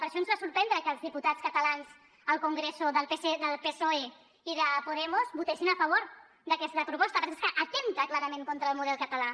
per això ens va sorprendre que els diputats catalans al congreso del psoe i de podemos votessin a favor d’aquesta proposta perquè és que atempta clarament contra el model català